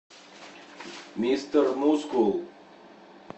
мистер мускул